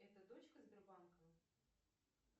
это дочка сбербанка